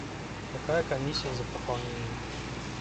какая комиссия за пополнение